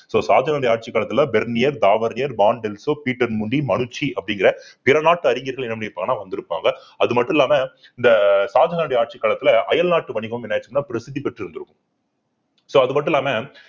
so ஷாஜகானுடைய ஆட்சிக் காலத்துல bernier பாண்டேல்சோ பீட்டர் முண்டி மனுச்சி அப்படிங்கிற பிற நாட்டு அறிஞர்கள் என்ன நினைப்பாங்கன்னா வந்திருப்பாங்க அது மட்டும் இல்லாம இந்த ஷாஜகானுடைய ஆட்சி காலத்துல அயல்நாட்டு வணிகம் என்ன ஆச்சுன்னா பிரசித்தி பெற்றிருந்திரும் so அது மட்டும் இல்லாம